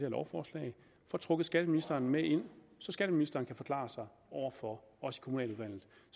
lovforslag får trukket skatteministeren med ind så skatteministeren kan forklare sig over for os i kommunaludvalget